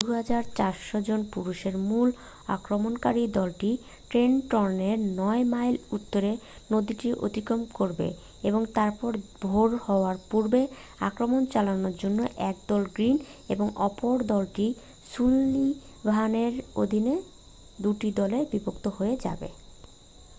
2,400 জন পুরুষের মূল আক্রমণকারী দলটি ট্রেনটনের নয় মাইল উত্তরে নদীটি অতিক্রম করবে এবং তারপরে ভোরের হওয়ার পূর্বে আক্রমণ চালানোর জন্য একদল গ্রীন এবং অপরদলটি সুলিভানের অধীনে দুটি দলে বিভক্ত হয়ে যাবে